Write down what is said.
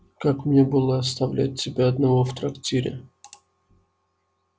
как мне было оставлять тебя одного в трактире